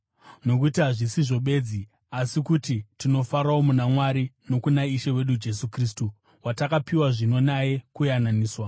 Nokuti hazvisizvo bedzi, asi kuti tinofarawo muna Mwari nokuna Ishe wedu Jesu Kristu, watakapiwa zvino naye kuyananiswa.